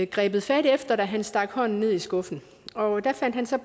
grebet fat i da han stak hånden ned i skuffen der fandt han så